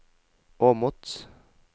Åmot